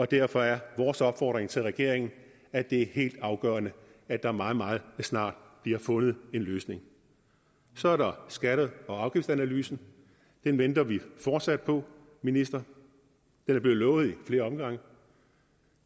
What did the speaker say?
derfor er vores opfordring til regeringen at det er helt afgørende at der meget meget snart bliver fundet en løsning så er der skatter og afgifter analysen den venter vi fortsat på minister den er blevet lovet i flere omgange